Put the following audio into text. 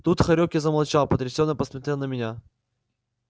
тут хорёк замолчал и потрясенно посмотрел на меня